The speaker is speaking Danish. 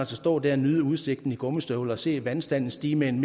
stå der og nyde udsigten i gummistøvler og se vandstanden stige med en